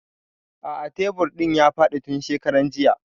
A'a tebur ɗin ya faɗi tun shekaran jiya